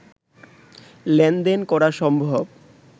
লেনদেন করা সম্ভব